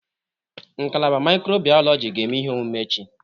Ngalaba mikrobiyọlojị ga-eme ihe omume echi.